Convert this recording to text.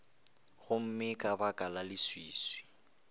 gomme ka baka la leswiswi